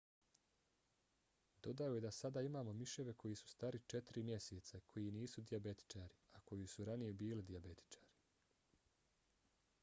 dodao je da sada imamo miševe koji su stari četiri mjeseca i koji nisu dijabetičari a koji su ranije bili dijabetičari.